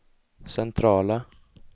centrala